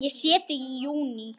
Ég sé þig í júní.